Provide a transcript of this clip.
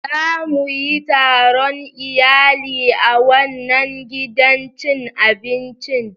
Za mu yi taron iyali a wannan gidan cin abincin.